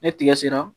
Ni tigɛ sera